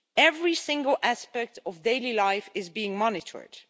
Every single aspect of daily life is being monitored.